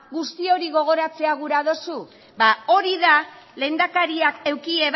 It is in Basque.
guzti hori gogoratzea gura duzu ba hori da lehendakariak eduki